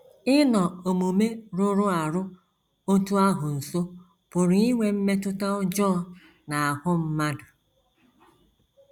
Ịnọ omume rụrụ arụ otú ahụ nso pụrụ inwe mmetụta ọjọọ n’ahụ́ mmadụ.